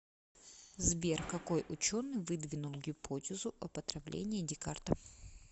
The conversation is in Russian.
сбер какой ученый выдвинул гипотезу об отравлении декарта